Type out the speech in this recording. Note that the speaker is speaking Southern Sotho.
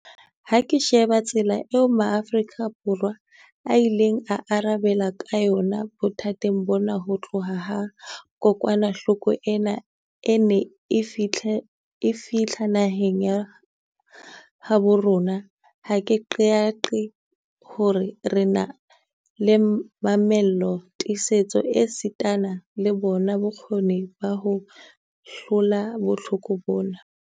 Ha ke sheba tsela eo Maafrika Borwa a ileng a arabela ka yona bothateng bona ho tloha ha kokwanahloko ena e ne e fihla naheng ya habo rona, ha ke qeaqee hore re na le mamello, tiisetso esitana le bona bokgoni ba ho hlola bohloko bona.